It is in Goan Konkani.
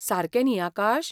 सारकें न्ही, आकाश?